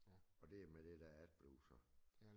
Og det med det der AdBlue så